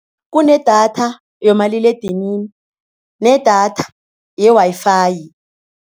Kunedatha yomaliledinini nedatha ye-Wi-Fi.